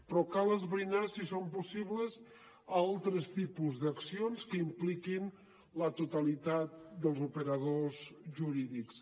però cal esbrinar si són possibles altres tipus d’accions que impliquin la totalitat dels operadors jurídics